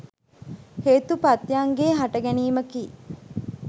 හේතු ප්‍රත්‍යයන්ගේ හටගැනීමකි.